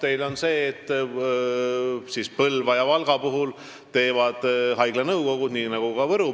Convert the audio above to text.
Vastus on see, et Põlvas ja Valgas teeb neid haigla nõukogu, nii nagu ka Võrus.